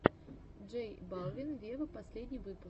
джей балвин вево последний выпуск